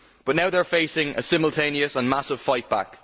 But now they are facing a simultaneous and massive fightback.